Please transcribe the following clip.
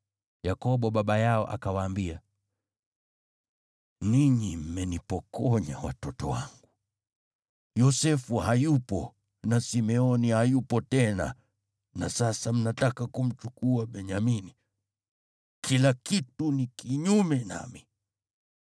Yakobo baba yao akawaambia, “Ninyi mmenipokonya watoto wangu. Yosefu hayupo na Simeoni hayupo tena na sasa mnataka kumchukua Benyamini. Kila kitu ni kinyume nami!”